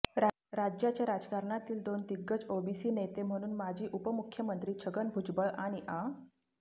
राज्याच्या राजकारणातील दोन दिग्गज ओबीसी नेते म्हणून माजी उपमुख्यमंत्री छगन भुजबळ आणि आ